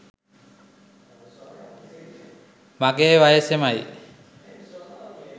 මගේ වයසෙමයි.